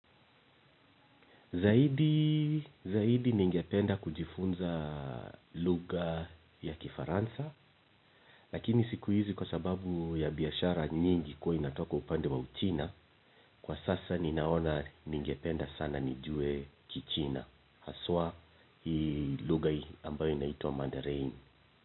Zaidi, zaidi ningependa kujifunza lugha ya Kifaransa, lakini siku hizi kwa sababu ya biashara nyingi kuwa inatoka upande wa Uchina, kwa sasa ninaona ningependa sana nijue Kichina, haswa hii lugha ambayo inaitwa mandarini.